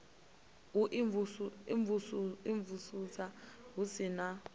u imvumvusa hu si na